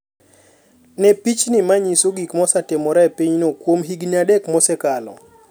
Ne pichni ma nyiso gik mosetimore e pinyno kuom higini adek mosekalo.